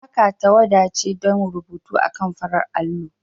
Maka tawada ce don rubutu akan farar allo.